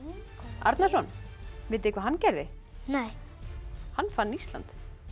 Arnarson vitið þið hvað hann gerði nei hann fann Ísland